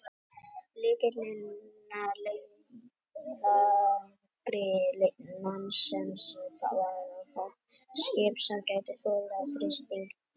Lykillinn að leiðangri Nansens var að fá skip sem gæti þolað þrýsting íssins.